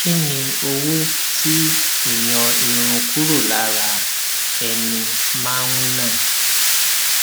kí ni owó tí ìyọn irun kúrò lára ara ẹni máa ná